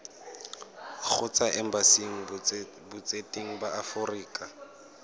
kgotsa embasing botseteng ba aforika